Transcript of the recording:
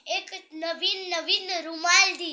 एक नवीन नवीन रुमाल दिला